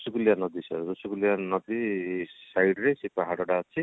ଋଷିକୁଲ୍ୟା ନଦୀ sir ଋଷିକୁଲ୍ୟା ନଦୀ site ରେ ସେ ପାହାଡ ଟା ଅଛି